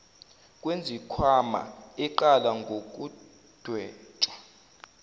kwezikhwama eqala ngokudwetshwa